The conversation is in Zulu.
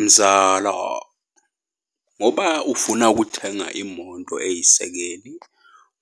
Mzala, ngoba ufuna ukuthenga imoto eyisekeni